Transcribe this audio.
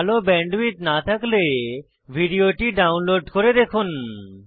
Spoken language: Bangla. ভাল ব্যান্ডউইডথ না থাকলে ভিডিওটি ডাউনলোড করে দেখুন